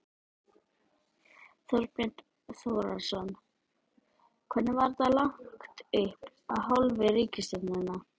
Þorbjörn Þórðarson: Hvernig var þetta lagt upp af hálfu ríkisstjórnarinnar?